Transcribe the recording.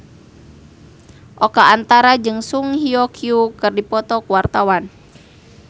Oka Antara jeung Song Hye Kyo keur dipoto ku wartawan